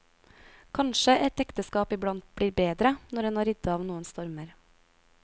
Kanskje et ekteskap iblant blir bedre når en har ridd av noen stormer.